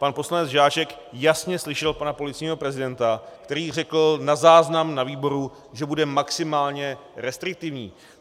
Pan poslanec Žáček jasně slyšel pana policejního prezidenta, který řekl na záznam na výboru, že bude maximálně restriktivní.